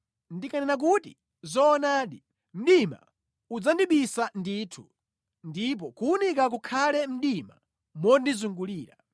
Ndikanena kuti, “Zoonadi, mdima udzandibisa ndithu ndipo kuwunika kukhale mdima mondizungulira,”